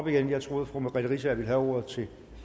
igen jeg troede fru merete riisager ville have ordet